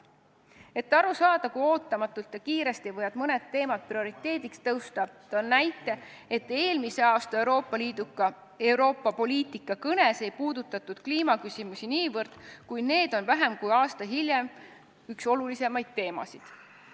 Et aru saada, kui ootamatult ja kiiresti võivad mõned teemad prioriteediks tõusta, toon näite, et eelmise aasta Euroopa Liidu poliitikast rääkivas kõnes kliimaküsimusi nii väga ei puudutatud, kuid vähem kui aasta hiljem on see üks olulisemaid teemasid.